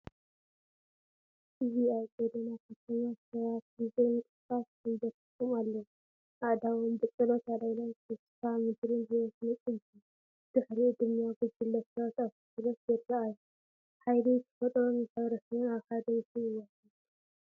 እዚ ኣብ ሓደ ጐደና ከተማ፡ ሰባት ብዘይ ምንቅስቓስ ተንበርኪኮም ኣለው፡ ኣእዳዎም ብጸሎት ኣልዒሎም፡ ተስፋ ምድርን ህይወትን ይጽበዩ። ድሒሩ ድማ ጉጅለ ሰባት ኣብ ትኹረት ይረኣዩ፤ ሓይሊ ተፈጥሮን ማሕበረሰብን ኣብ ሓደ ምስሊ ይወሃሃድ።